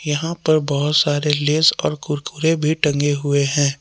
यहां पर बहुत सारे लेस और कुरकुरे भी टंगे हुए हैं।